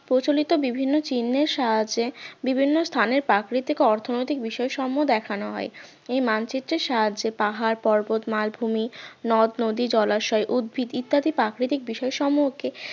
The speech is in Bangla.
প্রচলিত বিভিন্ন চিহ্নের সাহায্যে বিভিন্ন স্থানের প্রাকৃতিক অর্থনৈতিক বিষয় সম্য দেখানো হয় এই মানচিত্রের সাহায্যে পাহাড় পর্বত মালভূমি নদ-নদী জলাশয় উদ্ভিদ ইত্যাদি প্রাকৃতিক বিষয় সম্পর্কে